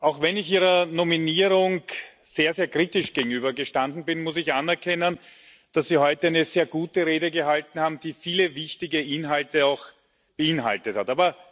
Auch wenn ich Ihrer Nominierung sehr sehr kritisch gegenübergestanden bin, muss ich anerkennen, dass Sie heute eine sehr gute Rede gehalten haben, die viele wichtige Inhalte auch beinhaltet hat.